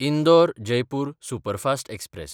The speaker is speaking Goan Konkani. इंदोर–जयपूर सुपरफास्ट एक्सप्रॅस